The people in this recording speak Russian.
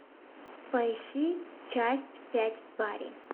поищи часть пять бари